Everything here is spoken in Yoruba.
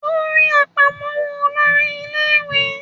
O rí àpamọ́wọ́ olórí ilé ìwé